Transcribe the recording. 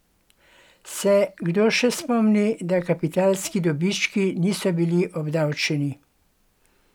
Se kdo še spomni, da kapitalski dobički niso bili obdavčeni?